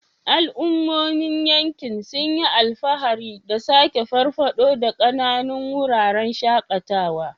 Al'ummomin yankin sun yi alfahari da sake farfado da ƙananun wuraren shakatawa.